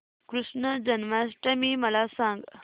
कृष्ण जन्माष्टमी मला सांग